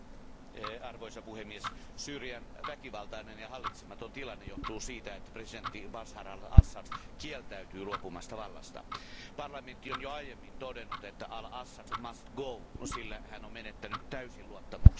Arvoisa puhemies, Syyrian väkivaltainen ja hallitsematon tilanne johtuu siitä, että presidentti Bašar al Assad kieltäytyy luopumasta vallasta. Parlamentti on jo aiemmin todennut, että al Assad sillä hän on menettänyt täysin luottamuksensa.